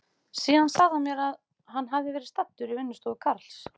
Síðan sagði hann mér að hann hefði verið staddur í vinnustofu Karls